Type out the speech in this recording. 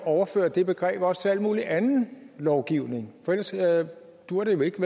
at overføre det begreb også til al mulig anden lovgivning for ellers duer det jo ikke